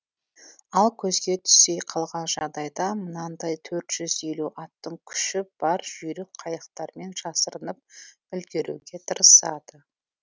ал көзге түсе қалған жағдайда мынадай қырық елу аттың күші бар жүйрік қайықтармен жасырынып үлгеруге тырысады